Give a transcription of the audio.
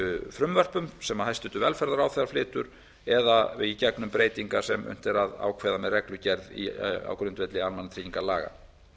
frumvörpum sem hæstvirtur velferðarráðherra flytur eða í gegnum breytingar sem unnt er að ákveða með reglugerð á grundvelli almannatryggingalaga